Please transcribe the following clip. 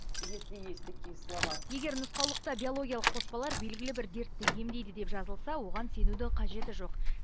если есть такие слова егер нұсқаулықта биологиялық қоспалар белгілі бір дертті емдейді деп жазылса оған сенудің қажеті жоқ